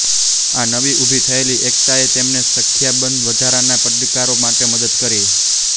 આ નવી ઉભી થયેલી એકતાએ તેમને સંખ્યાબંધ વધારાના પડકારો માટે મદદ કરી